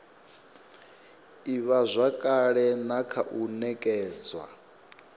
ivhazwakale na kha u nekedzwa